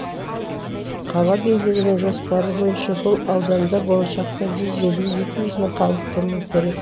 қала билігінің жоспары бойынша бұл ауданда болашақта жүз елу екі жүз мың халық тұруы керек